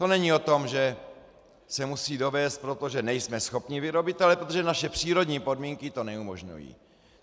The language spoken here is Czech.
To není o tom, že se musí dovézt, protože nejsme schopni vyrobit, ale protože naše přírodní podmínky to neumožňují.